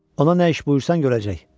Ona nə iş buyursan görəcək.